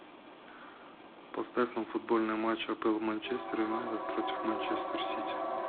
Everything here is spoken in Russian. поставь нам футбольный матч апл манчестер юнайтед против манчестер сити